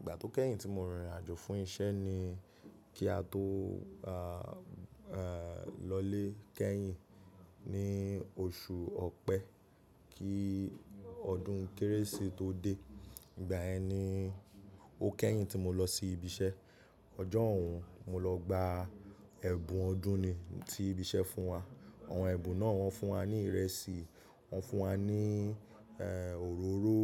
Ìgbà tó kẹ́yìn tí mo rìn ìrìn àjò fún iṣẹ́ ni kí á tó lọ lé kẹ́yìn ní oṣù Ọ̀pẹ, kí ọdún kérésì tó dé. Ìgbà yẹn ni o kẹ́yìn tí mo lọ sí ibi iṣẹ́. Ọjọ́ òún mo lọ gba ẹ̀bùn ọdún ni tí ibi iṣẹ́ fún wa. Àwọn ẹ̀bùn náà wọ́n fún wa ní ìrẹsì, wọ́n fún wa ní òróró